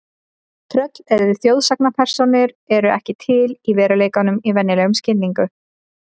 Tröll eru þjóðsagnapersónur eru ekki til í veruleikanum í venjulegum skilningi.